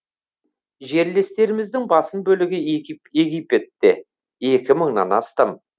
жерлестеріміздің басым бөлігі египетте екі мыңнан астам